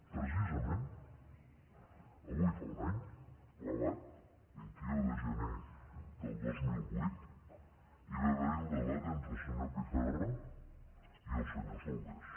precisament avui fa un any clavat vint un de gener del dos mil vuit hi va haver el debat entre el senyor pizarro i el senyor solbes